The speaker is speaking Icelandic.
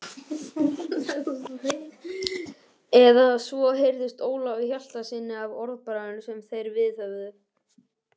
Eða svo heyrðist Ólafi Hjaltasyni af orðbragðinu sem þeir viðhöfðu.